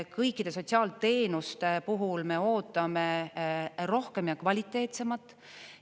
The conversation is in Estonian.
Kõikide sotsiaalteenuste puhul me ootame rohkem ja kvaliteetsemat.